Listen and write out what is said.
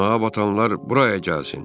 Günaha batanlar bura gəlsin!